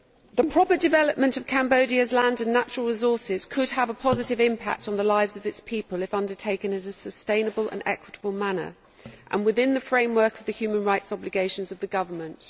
The proper development of Cambodia's land and natural resources could have a positive impact on the lives of its people if undertaken in a sustainable and equitable manner and within the framework of the human rights obligations of the government.